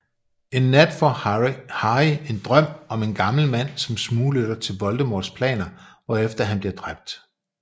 En nat får Harry en drøm om en gammel mand som smuglytter til Voldemorts planer hvorefter han bliver dræbt